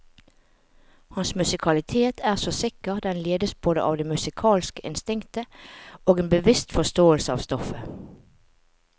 Hans musikalitet er så sikker, den ledes både av det musikalske instinktet og en bevisst forståelse av stoffet.